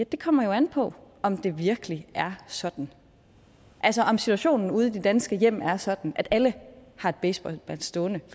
det kommer jo an på om det virkelig er sådan altså om situationen ude i de danske hjem er sådan at alle har et baseballbat stående